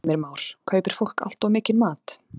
Heimir Már: Kaupir fólk allt of mikinn mat?